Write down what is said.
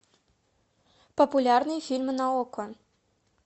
популярные фильмы на окко